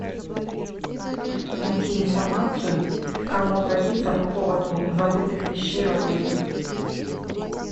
найти информацию к кому обратиться по поводу забытых вещей в отеле